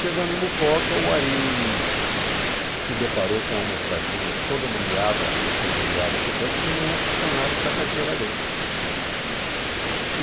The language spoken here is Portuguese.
Chegando em Mucoca, o Ari se deparou com uma moçadinha toda nomeada, recém-nomeada para o banco, sem nenhum funcionário para a carteira agrícola.